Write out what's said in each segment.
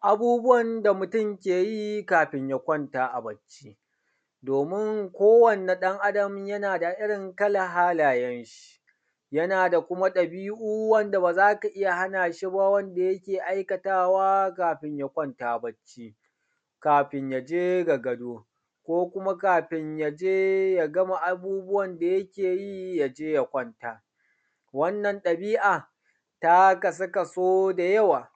Abubuwan da mutun ke yi kafin ya kwanta a bacci domin ko wanne ɗan Adam yana da irin kallan halayan shi, yana da kuma ɗabi'u wanda ba za ka iya hana shi ba wanda yake aikatawa kafin ya kwanta bacci, kafin ya je ga gado, ko kuma kafin ya je ya gama abubuwan da yake yi. Ya je ya kwanta. Wannan ɗabi'a ta kasu kaso da yawa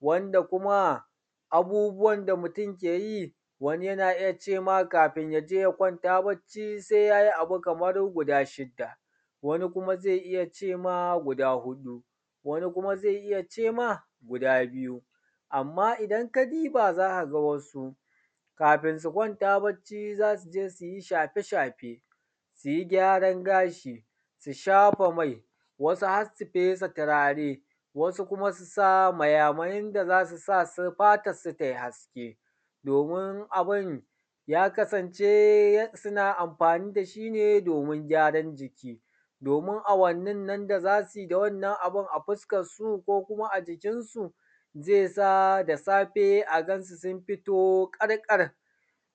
,wanda kuma abubuwan da mutun ke yi wani yana iya ce ma kafin ya je ya kwanta bacci sai yayi abu kamar guda shida wani kuma zai iya ce ma guda huɗu, wani kuma zai iya ce ma guda biyu. Amma idan ka duba za ka ga wasu kafin su kwanta bacci za su je su yi shafe shafe, su yi gyaran gashi, su shafa mai, wasu har su fesa turare, wasu kuma su sa maya mayen da zai sa fatan su ta yi hasken domin abun ya kasance suna amfani da shi ne domin gyaran jiki, domin awannin nan da za su yi da wannan abun a fuskan su koh a jikin su zai sa da safe a gan su sun fito ƙar ƙar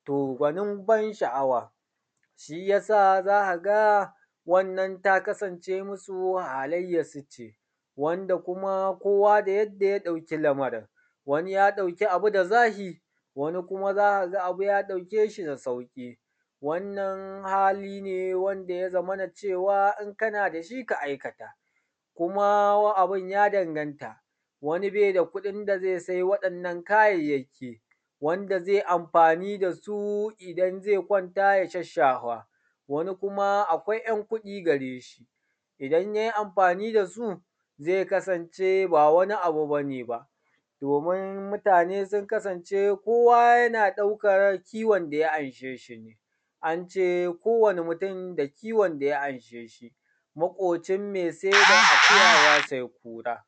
to gwanin ban sha'awa, shi yasa za ka ga wannan ta kasance masu halaiyan su ce .Wanda kuma kowa da yadda ya ɗauki lamarin. Wani ya ɗauki abu da zafi, wani kuma za ka ga abu ya ɗauke shi da sauƙi. Wannan hali ne wanda ya zamana cewa in kana da shi ka aikata. Kuma abun ya danganta da kuɗin da zai sai wa'innan kayayyaki wanda zai amfani da su idan zai kwanta ya shasshafa, wani kuma akwai ‘yan kuɗi gare shi, idan yayi amfani da su zai kasance ba wani abu bane ba domin mutane sun kusance kowa yana ɗaukan kiwon da ya anshe shi ne. an ce kowane mutun da kiwon da ya amshe shi maƙocin mai sai da akuya ya sai kura.